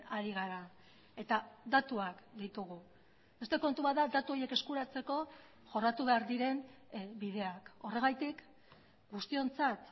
ari gara eta datuak ditugu beste kontu bat da datu horiek eskuratzeko jorratu behar diren bideak horregatik guztiontzat